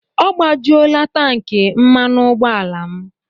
Ọ gbajuola tankị mmanụ ụgbọala m.